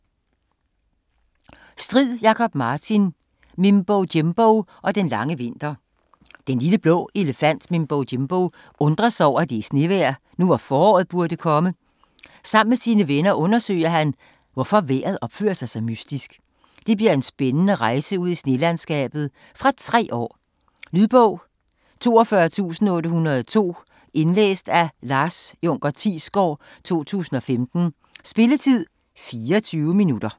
Strid, Jakob Martin: Mimbo Jimbo og den lange vinter Den lille, blå elefant Mimbo Jimbo undrer sig over, at det er snevejr, nu hvor foråret burde komme. Sammen med sine venner undersøger han, hvorfor vejret opfører sig så mystisk. Det bliver en spændende rejse ud i snelandskabet. Fra 3 år. Lydbog 42802 Indlæst af Lars Junker Thiesgaard, 2015. Spilletid: 0 timer, 24 minutter.